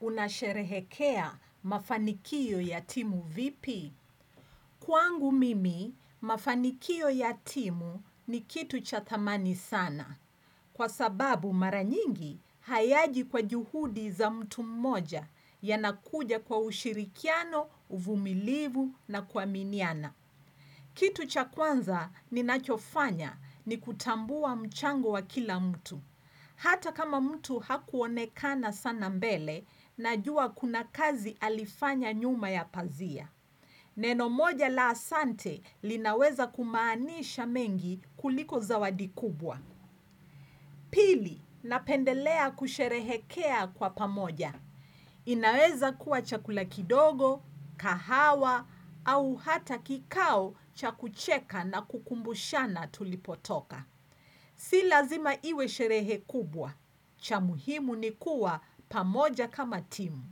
Unasherehekea mafanikio ya timu vipi? Kwangu mimi, mafanikio ya timu ni kitu cha thamana sana. Kwa sababu mara nyingi, hayaji kwa juhudi za mtu mmoja, yanakuja kwa ushirikiano, uvumilivu na kuaminiana kitu cha kwanza ninachofanya ni kutambua mchango wa kila mtu Hata kama mtu hakuonekana sana mbele najua kuna kazi alifanya nyuma ya pazia. Neno moja la asante linaweza kumaanisha mengi kuliko zawadi kubwa. Pili, napendelea kusherehekea kwa pamoja. Inaweza kuwa chakula kidogo kahawa au hata kikao cha kucheka na kukumbushana tulipotoka Si lazima iwe sherehe kubwa cha muhimu ni kuwa pamoja kama timu.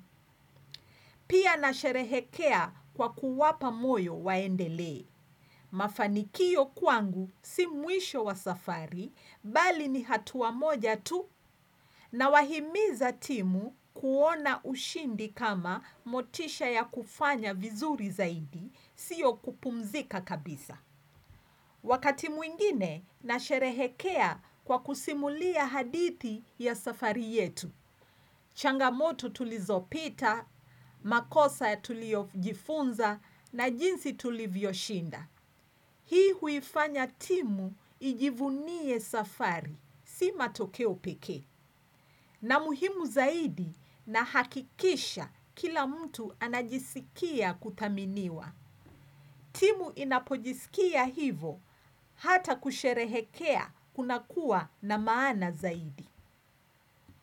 Pia nasherehekea kwa kuwapa moyo waendelee Mafanikio kwangu si mwisho wa safari bali ni hatua moja tu. Nawahimizo timu kuona ushindi kama motisha ya kufanya vizuri zaidi sio kupumzika kabisa wakati mwingine nasherehekea kwa simulia hadithi ya safari yetu changamoto tulizopita, makosa tuliyojifunza na jinsi tulivyoshinda Hii huifanya timu ijivunie safari, sio matokeo pekee na muhimu zaidi na hakikisha kila mtu anajisikia kutaminiwa. Timu inapojiskia hivyo, hata kusherehekea kunakua na maana zaidi.